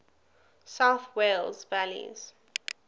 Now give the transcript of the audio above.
south wales valleys